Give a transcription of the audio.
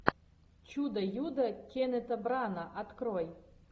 чудо юдо кеннета брана открой